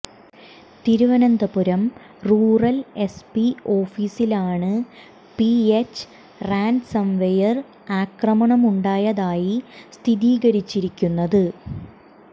Thiruvananthapuram rural S P ഓഫീസിലാണ് പിയെച്ച ransomware ആക്രമണമുണ്ടായതായി സ്ഥിരീകരിച്ചിരിക്കുന്നത്